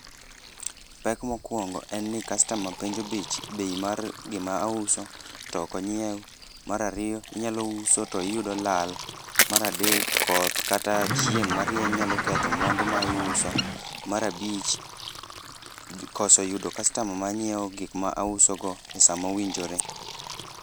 Pek mokwongo en ni kastama penjo bei mar gima auso to ok onyiew, mar ariyo inyalo uso to iyudo lal, mar adek, koth kata chieng' marieny nyalo ketho mwandu ma iuso, mar abich, koso yudo kastama ma nyieo gik ma ausogo e sa ma owinjore.